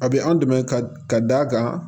A bɛ an dɛmɛ ka d'a kan